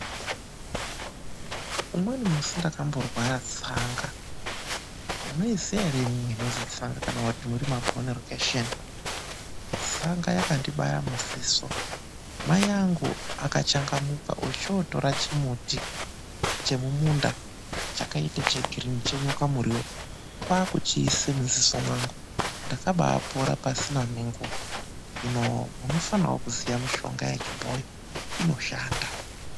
Umweni musi ndakamborwara tsanga. Munoiziya ere imwimwi inozwi tsanga? Kana kuti muri mabhoni rokhesheni. Tsanga yakandibaya muziso. Mai angu akachangamuka, ochootora chimuti chemumunda chakaita chegirini (chenyoka muriwo). Kwaakuchiise muziso mwangu. Ndakabaapona pasina nenguwa. Hino munofanawo kuziya mishonga yechibhoyi. Inoshanda.